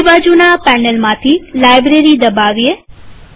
ડાબીબાજુના પેનલમાંથી લાઈબ્રેરી દબાવીએ